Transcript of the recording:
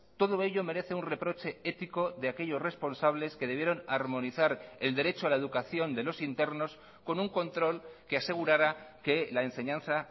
todo ello merece un reproche ético de aquellos responsables que debieron armonizar el derecho a la educación de los internos con un control que asegurara que la enseñanza